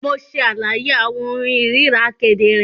Mo ṣe àlàyé awọn ohùn irira kedere.